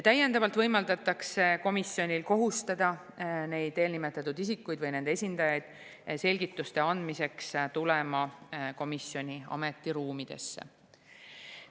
Täiendavalt võimaldatakse komisjonil kohustada eelnimetatud isikuid või nende esindajaid selgituste andmiseks tulema komisjoni ametiruumidesse.